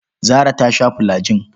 Zarah ta sha fulajin.